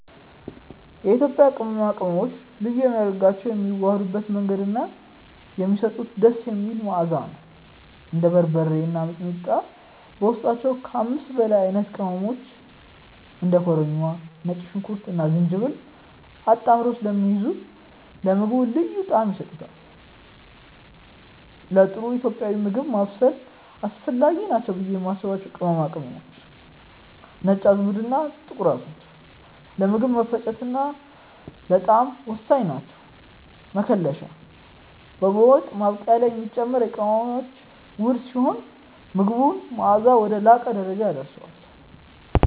የኢትዮጵያ ቅመማ ቅመሞችን ልዩ የሚያደርጋቸው የሚዋሃዱበት መንገድ እና የሚሰጡት ደስ የሚል መዓዛ ነው። እንደ በርበሬ እና ሚጥሚጣ በውስጣቸው ከ5 በላይ አይነት ቅመሞችን (እንደ ኮረሪማ፣ ነጭ ሽንኩርትና ዝንጅብል) አጣምረው ስለሚይዙ ለምግቡ ልዩ ጣዕም ይሰጡታል። ለጥሩ ኢትዮጵያዊ ምግብ ማብሰል አስፈላጊ ናቸው ብዬ የማስባቸው ቅመሞች፦ ነጭ አዝሙድና ጥቁር አዝሙድ፦ ለምግብ መፈጨትና ለጣዕም ወሳኝ ናቸው። መከለሻ፦ በወጥ ማብቂያ ላይ የሚጨመር የቅመሞች ውህድ ሲሆን፣ የምግቡን መዓዛ ወደ ላቀ ደረጃ ያደርሰዋል።